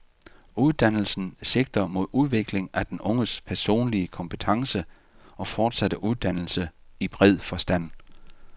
Uddannelsen sigter mod udvikling af den unges personlige kompetence og fortsatte uddannelse i bred forstand.